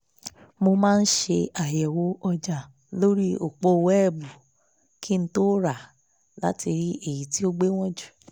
mo máa ṣe àyẹ̀wò ọjà lórí òpó wẹ́ẹ́bù kí n tó rà á láti rí èyí tí ó gbéwọ̀n jù